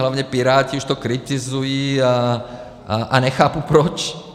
Hlavně Piráti už to kritizují, a nechápu proč.